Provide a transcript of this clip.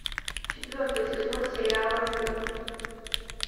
четвертый сезон сериала сын